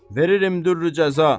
Verirəm dürrü cəza.